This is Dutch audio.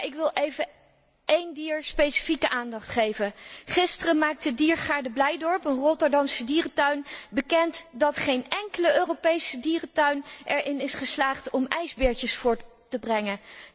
Maar ik wil even één dier specifieke aandacht geven. Gisteren maakte diergaarde Blijdorp, een Rotterdamse dierentuin, bekend dat geen enkele Europese dierentuin erin is geslaagd om ijsbeertjes voort te brengen.